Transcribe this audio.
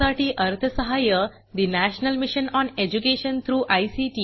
यासाठी national mission on education through I